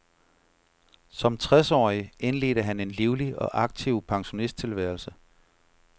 Som tres årig indledte han en livlig og aktiv pensionisttilværelse.